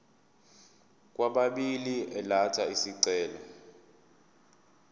kwababili elatha isicelo